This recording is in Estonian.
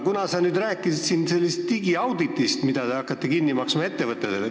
Sa rääkisid siin digiauditist, mida te hakkate ettevõtjatele kinni maksma.